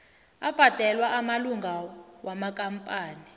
abhadelwa amalunga wamakampani